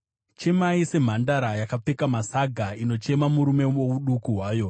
Chemai semhandara yakapfeka masaga inochema murume wouduku hwayo.